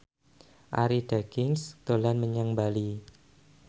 Arie Daginks dolan menyang Bali